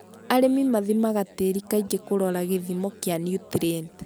Arĩmi mathimaga tĩri kaingĩ kũrora gĩthimo kĩa niutrienti.